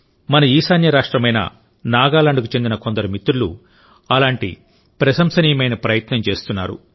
మన ఈశాన్య రాష్ట్రమైన నాగాలాండ్కు చెందిన కొందరు మిత్రులు అలాంటి ప్రశంసనీయమైన ప్రయత్నం చేస్తున్నారు